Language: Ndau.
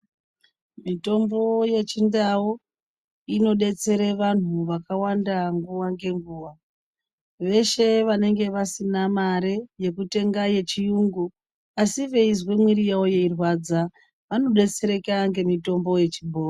Mitombo yechindau inodetsera vantu vakawanda nguwa ngenguwa veshe vanenge vasina mare yekutenga yechiyngu asi veizwa miri yavo yeirwadza vano detsereka ngemitombo yechibhoyi.